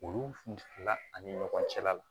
Olu fila ani ɲɔgɔn cɛla la